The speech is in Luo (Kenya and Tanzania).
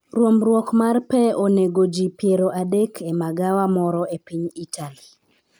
ruombruok mar pe onego ji piero adek e magawa moro e piny Itali